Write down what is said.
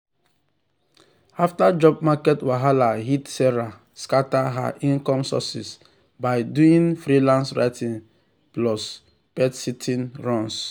after job market wahala hit sarah scatter her income sources by doing freelance writing plus pet-sitting runs.